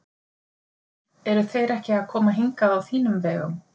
Eru þeir ekki að koma hingað á þínum vegum?